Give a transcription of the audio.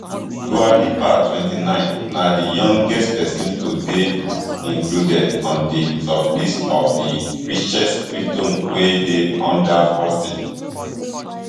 dua lipa twenty-nine na di youngest person to dey included on di sublist of di richest britons wey dey under forty